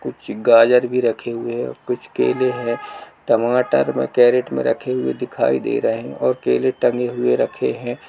कुछ गाजर भी रखे हुए हैं और कुछ केले हैं टमाटर वहाँ केरेट में रखे हुए दिखाई दे रहे हैं और केले टंगे हुए रखे हैं।